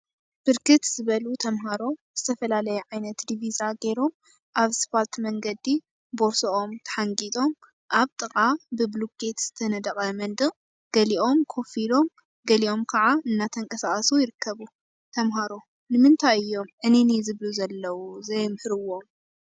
9. ብርክት ዝበሉ ተምሃሮ ዝተፈላለየ ዓይነት ዲቪዛ ገይሮም አብ ሰፓልት መንገዲ ቦርስኦም ተሓንጊጦም አብ ጥቃ ብቡሉኬት ዝተነደቀ መንድቅ ገሊኦም ኮፍ ኢሎም ገሊኦም ከዓ እናተንቀሳቀሱ ይርከቡ። ተምሃሮ ንምንታይ እዮም ዕንይንይ ዝብሉ ዘለው ዘየምህርዎም።